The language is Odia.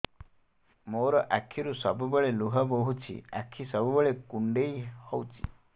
ମୋର ଆଖିରୁ ସବୁବେଳେ ଲୁହ ବୋହୁଛି ଆଖି ସବୁବେଳେ କୁଣ୍ଡେଇ ହଉଚି